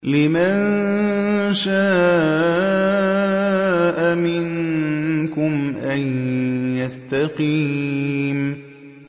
لِمَن شَاءَ مِنكُمْ أَن يَسْتَقِيمَ